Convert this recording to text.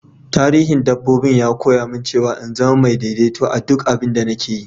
Tarihin dabbobi'n ya koya mun cewa n'zama daidaito a'duk abin da nake yi.